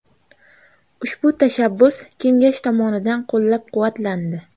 Ushbu tashabbus kengash tomonidan qo‘llab-quvvatlandi.